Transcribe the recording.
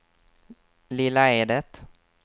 Lilla Edet